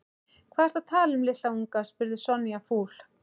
Hvað ertu að tala um litla unga? spurði Sonja fúl.